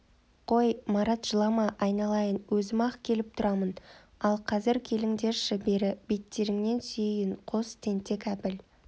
қой марат жылама айналайын өзім-ақ келіп тұрамын ал қазір келіңдерші бері беттеріңнен сүйейін қос тентек әбіл